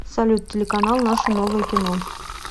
салют телеканал наше новое кино